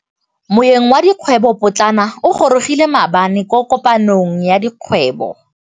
Moêng wa dikgwêbô pôtlana o gorogile maabane kwa kopanong ya dikgwêbô.